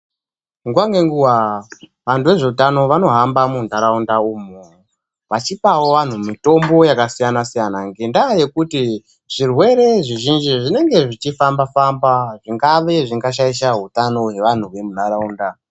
Nguwa ngenguwa vantu vezvehutano vanohamba munharaunda umu vachipawo vantu mitombo yakasiyana siyana ngendaa yekuti zvirwere zvizhinji zvinenge zvichifamba famba zvingave zvinga shaisha hutano wevantu vemunharaunda.